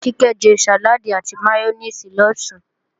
Kíkẹ́ jẹ sàláàdì àti máyónèsì lọ̀sán